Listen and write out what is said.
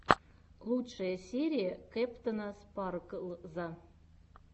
лучшая серия кэптэна спарклза